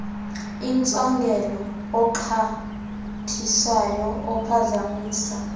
intsongelo oxhathisayo ophazamisa